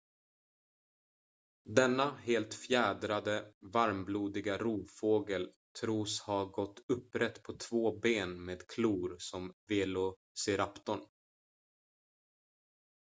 denna helt fjädrade varmblodiga rovfågel tros ha gått upprätt på två ben med klor som velociraptorn